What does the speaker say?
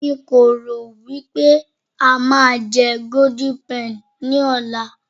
nko ro wipe a ma je golden penny ní ọlá